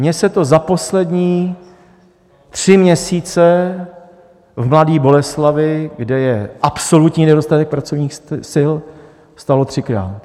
Mně se to za poslední tři měsíce v Mladé Boleslavi, kde je absolutní nedostatek pracovních sil, stalo třikrát.